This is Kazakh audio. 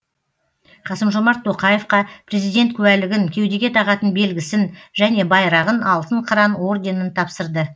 қасым жомарт тоқаевқа президент куәлігін кеудеге тағатын белгісін және байрағын алтын қыран орденін тапсырды